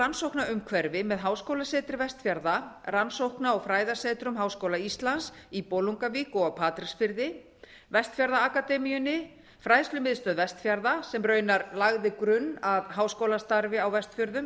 rannsóknaumhverfi með háskólasetri vestfjarða rannsókna og fræðasetrum háskóla íslands í bolungarvík og á patreksfirði vestfjarðaakademíunni fræðslumiðstöð vestfjarða sem raunar lagði grunn að háskólastarfi á vestfjörðum